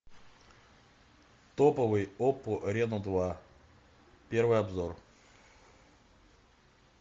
топовый оппо рено два первый обзор